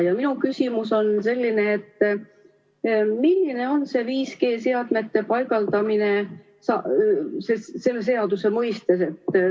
Ja minu küsimus on selline: milline on see 5G-seadmete paigaldamine selle seaduse mõistes?